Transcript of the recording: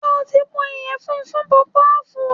Ṣé o ti po ìyẹ̀fun funpọpọ́ọ̀fù?